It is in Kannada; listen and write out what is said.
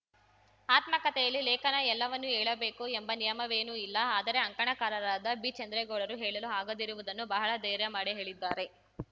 ಆತ್ಮಕಥೆಯಲ್ಲಿ ಲೇಖನ ಎಲ್ಲವನ್ನೂ ಹೇಳಬೇಕು ಎಂಬ ನಿಯಮವೇನೂ ಇಲ್ಲ ಆದರೆ ಅಂಕಣಕಾರರಾದ ಬಿಚಂದ್ರೇಗೌಡರು ಹೇಳಲು ಆಗದಿರುವುದನ್ನೂ ಬಹಳ ಧೈರ್ಯ ಮಾಡಿ ಹೇಳಿದ್ದಾರೆ